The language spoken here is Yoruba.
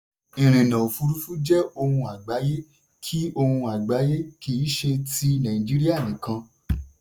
ìrìnà òfurufú jẹ́ ohun àgbáyé kì ohun àgbáyé kì í ṣe ti nàìjíríà nìkan.